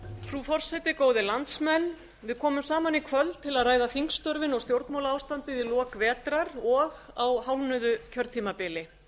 frú forseti góðir landsmenn við komum saman í kvöld til að ræða þingstörfin og stjórnmálaástandið í lok vetrar og á hálfnuðu kjörtímabili